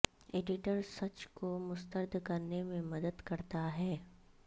editor سچ کو مسترد کرنے میں مدد کرتا ہے